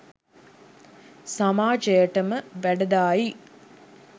සමාජයටම වැඩදායි,